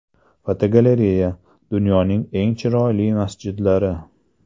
Fotogalereya: Dunyoning eng chiroyli masjidlari.